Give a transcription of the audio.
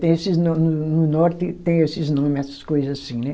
Tem esses, no, no norte tem esses nome, essas coisa assim, né?